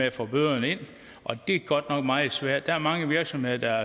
at få bøderne ind og det er godt nok meget svært der er mange virksomheder der